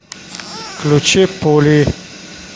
включи пули